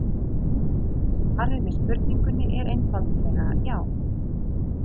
Svarið við spurningunni er einfaldlega já.